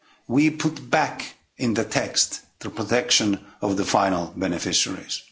we put back in the text the protection of the final beneficiaries.